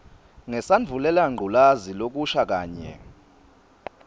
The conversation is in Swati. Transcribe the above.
ngesandvulelangculazi lokusha kanye